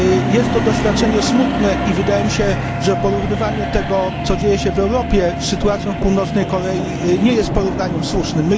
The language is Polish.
Jest to doświadczenie smutne i wydaje mi się, że porównywanie tego, co dzieje się w Europie z sytuacją w Północnej Korei nie jest porównaniem słusznym.